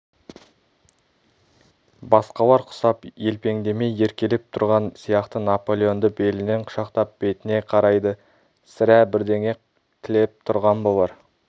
басқалар құсап елпеңдемей еркелеп тұрған сияқты наполеонды белінен құшақтап бетіне қарайды сірә бірдеңе тілеп тұрған болар